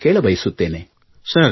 ನಾನು ಕೇಳಬಯಸುತ್ತೇನೆ